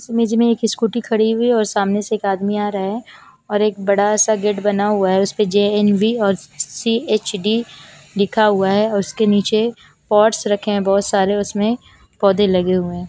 इस इमेज में एक स्कूटी खड़ी हुई और सामने से एक आदमी आ रहा है और एक बड़ा सा गेट बना हुआ है उसपे जे एम बी और सी एच डी लिखा हुआ है और उसके नीचे पोट्स रखे बहोत सारे उसमे पोधे लगे हुए--